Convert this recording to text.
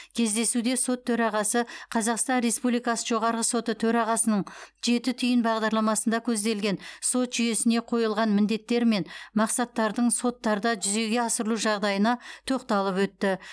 кездесуде сот төрағасы қазақстан республикасы жоғарғы соты төрағасының жеті түйін бағдарламасында көзделген сот жүйесіне қойылған міндеттер мен мақсаттардың соттарда жүзеге асырылу жағдайына тоқталып өтті